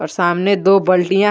और सामने दो बल्टिया है।